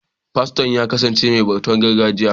Faston ya kasance mai bautar gargajiya.